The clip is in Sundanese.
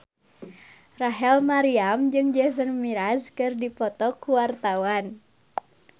Rachel Maryam jeung Jason Mraz keur dipoto ku wartawan